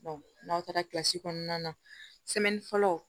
n'aw taara kilasi kɔnɔna na fɔlɔ